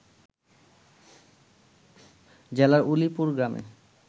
জেলার উলিপুর গ্রামে